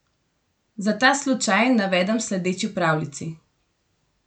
Za ta slučaj navedem sledeči pravljici.